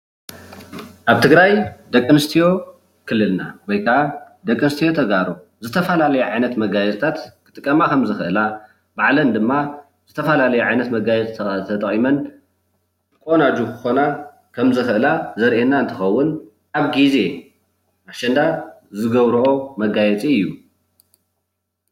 ኣብ ትግራይ ደቂ ኣነስትዮ ክልልና ወይ ከኣ ደቂ ኣነስትዮ ተጋሩ ዝተፈላለዩ ዓይነት መጋየፅታት ክጥቀማ ከም ዝክእላ ባዕለን ድማ ዝተፈላለዩ መጋየፅታት ተጠቂመን ቆናጁ ክኮና ከም ዝክእላ ዘርእየና እንትከውን ኣብ ግዜ ኣሸንዳ ዝገብረኦ መጋየፂ እዩ፡፡